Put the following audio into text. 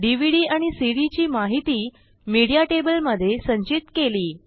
DVD आणि CD ची माहिती मीडिया टेबल मधे संचित केली